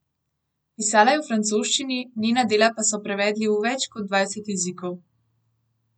Pisala je v francoščini, njena dela pa so prevedli v več kot dvajset jezikov.